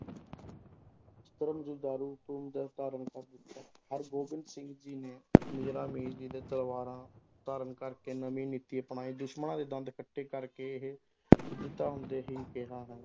ਹਰਿਗੋਬਿੰਦ ਸਿੰਘ ਜੀ ਨੇ ਤਲਵਾਰਾਂ ਧਾਰਨ ਕਰਕੇ ਨਵੀਂ ਨੀਤੀ ਅਪਣਾਈ ਦੁਸ਼ਮਣਾਂ ਦੇ ਦੰਦ ਖੱਟੇ ਕਰਕੇ ਇਹ ਕਿਹਾ ਹੈ।